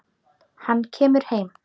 Hann kemur heim.